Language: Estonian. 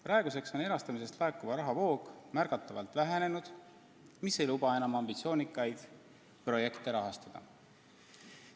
Praeguseks on erastamisest laekuva raha voog märgatavalt vähenenud ja see ei luba enam ambitsioonikaid projekte rahastada.